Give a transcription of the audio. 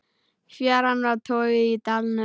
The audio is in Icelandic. Fjaran var torgið í dalnum.